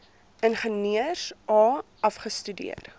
ingenieurs a afgestudeer